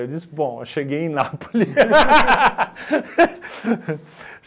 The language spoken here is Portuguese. Eu disse, bom, eu cheguei em Nápole.